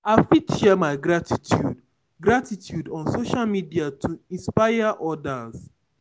I fit share my gratitude gratitude on social media to inspire others.